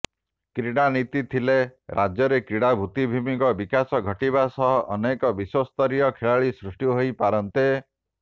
କ୍ରୀଡ଼ା ନୀତି ଥିଲେ ରାଜ୍ୟରେ କ୍ରୀଡ଼ା ଭିତ୍ତିଭୂମିର ବିକାଶ ଘଟିବା ସହ ଅନେକ ବିଶ୍ୱସ୍ତରୀୟ ଖେଳାଳି ସୃଷ୍ଟି ହୋଇପାରନ୍ତେ